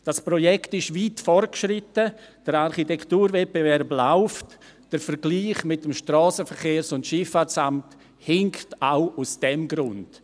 Dieses Projekt ist weit fortgeschritten, der Architekturwettbewerb läuft, der Vergleich mit dem SVSA hinkt auch aus diesem Grund.